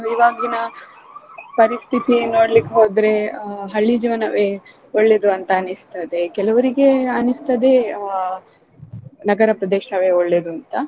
ಇವಾಗಿನ ಪರಿಸ್ತೀತಿ ನೋಡ್ಲಿಕ್ ಹೋದ್ರೆ ಆ ಹಳ್ಳಿ ಜೀವನವೇ ಒಳ್ಳೇದು ಅಂತ ಅನ್ಸ್ತದೆ ಕೆಲವ್ರಿಗೆ ಅನಿಸ್ತದೆ ಆ ನಗರ ಪ್ರದೇಶವೇ ಒಳ್ಳೇದು ಅಂತ.